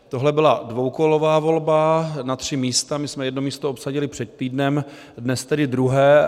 Tohle byla dvoukolová volba na tři místa, my jsme jedno místo obsadili před týdnem, dnes tedy druhé.